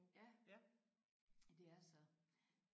Ja ja de er så